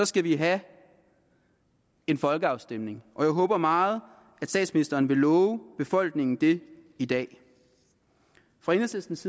skal vi have en folkeafstemning og jeg håber meget at statsministeren vil love befolkningen det i dag på enhedslistens